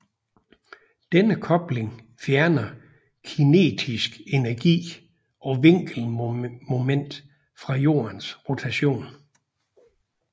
Denne kobling fjerner kinetisk energi og vinkelmoment fra Jordens rotation